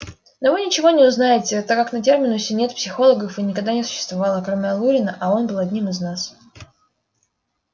но вы ничего не узнаете так как на терминусе нет психологов и никогда не существовало кроме алурина а он был одним из нас